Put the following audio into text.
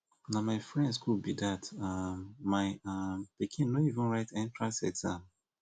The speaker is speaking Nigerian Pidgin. na my friend school be dat um my um pikin no even write entrance exam